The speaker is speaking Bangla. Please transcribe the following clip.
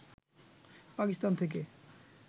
পাকিস্তান থেকে